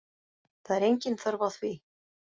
Það er engin þörf á því